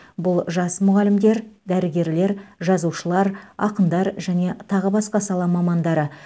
бұл жас мұғалімдер дәрігерлер жазушылар ақындар және тағы басқа сала мамандары